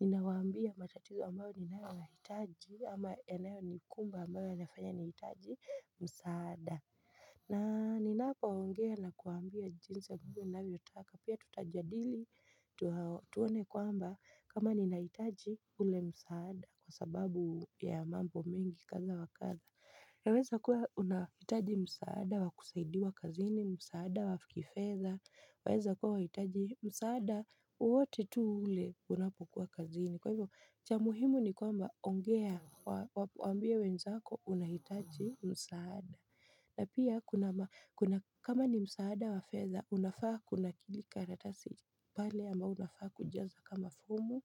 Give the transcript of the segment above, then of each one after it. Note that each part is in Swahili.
ninawaambia matatizo ambayo ninayoyahitaji ama yanayo nikumba ambayo yanafanya nihitaji msaada. Na ni napongea na kuwaambia jinsi ya kuwa ninavyo taka. Pia tutajadili tuone kwamba kama ninahitaji ule msaada kwa sababu ya mambo mingi kadha wakadha. iNa weza kuwa unahitaji msaada wakusaidiwa kazini msaada wafikifedha. Waeza kuwa unahitaji msaada wowote tu ule unapokuwa kazini. Kwa hivyo cha muhimu ni kwamba ongea waambie wenzako unahitaji msaada. Na pia kuna kama ni msaada wa fedha unafaa kunakili karatasi pale ambapo unafaa kujaza kama fomu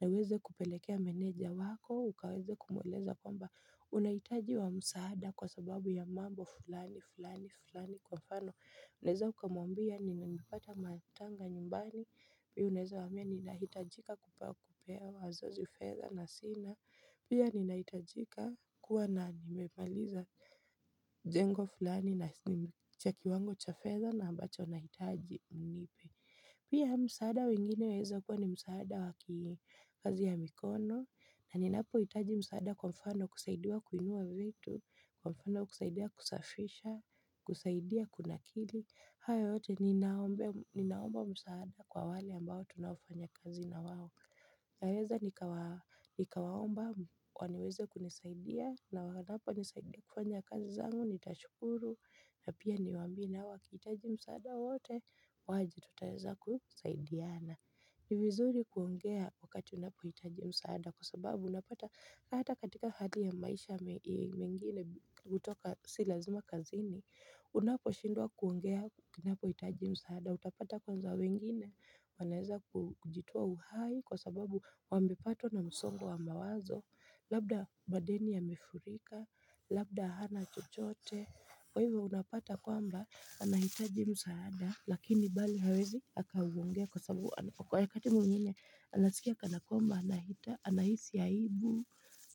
na uweze kupelekea meneja wako ukaweza kumueleza kwamba unahitaji huo msaada kwa sababu ya mambo fulani fulani fulani kwa mfano unaweza ukamwambia ni nimeipata matanga nyumbani Pia unaweza waambia ninahitajika kupaa kupea wazazi fedha na sina Pia ninahitajika kuwa na nimemaliza mjengo fulani na chaki wango cha fedha na ambacho nahitaji mnipe Pia msaada mwingine waweza kuwa ni msaada wakikazi ya mikono na ninapo hitaji msaada kwa mfano kusaidiwa kuinua vitu Kwa mfano kusaidiwa kusafisha, kusaidiwa kuna kili hayo yote ninaomba msaada kwa wale ambao tunafanya kazi na wao. Naweza nikawaomba waniweze kunisaidia na wanaponisaidia kufanya kazi zangu, nitashukuru na pia niwambie nao wakihitaji msaada wowote waje tutaweza kusaidiana. Nivizuri kuongea wakati unapohitaji msaada kwa sababu unapata hata katika hali ya maisha mengine kutoka silazima kazini. Unapo shindwa kuongea unapo hitaji msaada, utapata kwanza wengine, wanaeza kujitoa uhai kwa sababu wamepatwa na msongo wa mawazo, labda madeni yamefurika, labda hana chochote, kwa hivyo unapata kwamba anahitaji msaada, lakini bali hawezi akauongea kwa sababu kwa wakati mwingine anasikia kanakwamba anahita, anahisi aibu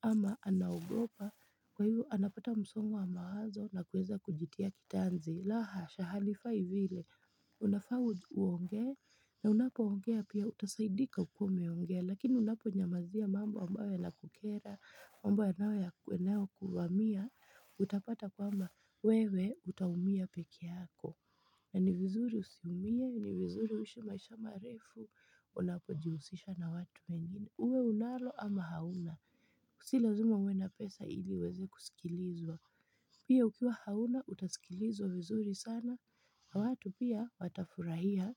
ama anaogopa Kwa hivo anapata msongo wa mawazo na kuweza kujitia kitanzi. Laha, shahalifai vile, unafaa uongee, na unapo ongea pia utasaidika ukiwa umeongea. Lakini unapo nyamazia mambo ambayo yana kukera, mambo ambayo yanayo yanayo kuvamia, utapata kuwa mwewe utaumia peke yako. Na ni vizuri usiumie, ni vizuri uishi maisha marefu, unapo jihusisha na watu wengine. Uwe unalo ama hauna si lazima uwe na pesa ili uweze kusikilizwa Pia ukiwa hauna utasikilizwa vizuri sana watu pia watafurahia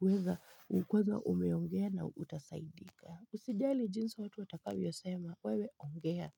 uweza ukiweza umeongea na utasaidika Usijali jinsi watu watakavyosema wewe ongea.